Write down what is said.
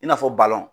I n'a fɔ